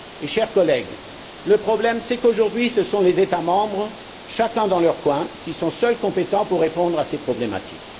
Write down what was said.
Chers collègues, le problème est que, aujourd'hui, ce sont les États membres, chacun dans leur coin, qui sont seuls compétents pour répondre à ces problématiques.